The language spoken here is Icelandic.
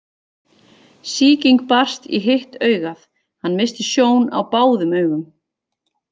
Sýking barst í hitt augað hann missti sjón á báðum augum.